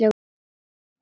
Allir voru úti við.